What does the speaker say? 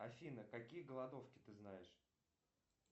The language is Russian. афина какие голодовки ты знаешь